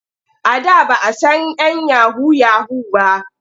A da ba a san 'yan yahu-yahu ba.